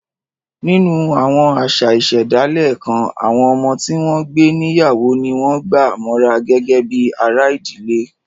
Nínú àwọn àṣà ìṣẹ̀dálẹ̀ kan, àwọn ọmọ tí wọ́n ń gbé níyàwó ni wọ́n gbà mọ́ra gẹ́gẹ́ bí ara ìdílé